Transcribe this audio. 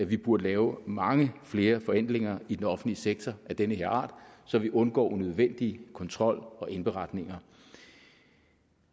vi burde lave mange flere forenklinger i den offentlige sektor af den her art så vi undgår unødvendig kontrol og indberetninger